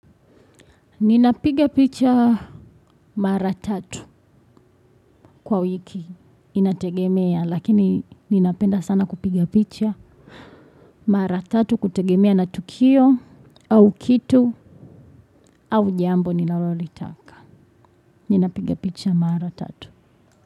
Ninapiga picha mara tatu, kwa wiki inategemea lakini ninapenda sana kupiga picha mara tatu kutegemea na tukio au kitu au jambo ninalolitaka. Ninapigapicha maratatu.